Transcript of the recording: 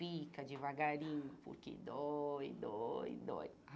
Pica devagarinho, porque dói, dói, dói.